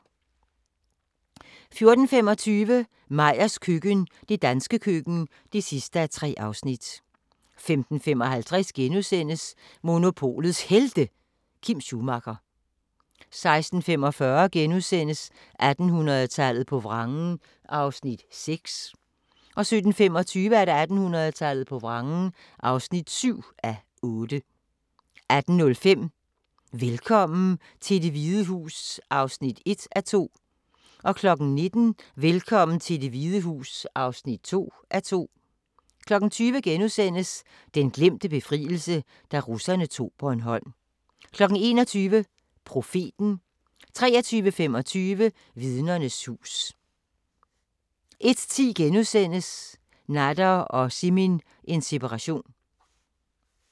14:25: Meyers køkken – det danske køkken (3:3) 15:55: Monopolets Helte – Kim Schumacher * 16:45: 1800-tallet på vrangen (6:8)* 17:25: 1800-tallet på vrangen (7:8) 18:05: Velkommen til Det Hvide Hus (1:2) 19:00: Velkommen til Det Hvide Hus (2:2) 20:00: Den glemte befrielse – da russerne tog Bornholm * 21:00: Profeten 23:25: Vidnernes hus 01:10: Nader og Simin – en separation *